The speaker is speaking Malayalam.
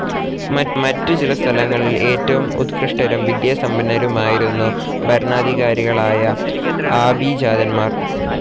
മറ്റു ചില സ്ഥലങ്ങളിൽ ഏറ്റവും ഉത്‌കൃഷ്ടരും വിദ്യാസമ്പന്നരുമായിരുന്നു ഭരണാധികാരികളായ ആഭിജാതന്മാർ.